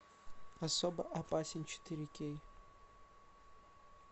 особо опасен четыре кей